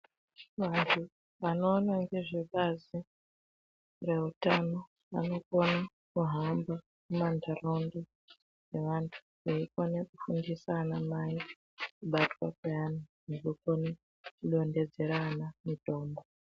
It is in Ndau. Vanhu vanokona nezvebazi reutano vanokona kuhamba mumanharaunda nevantu, veikone kufundisa ana mai kubatwa kweana nekukone kudonhedzera ana mitombo.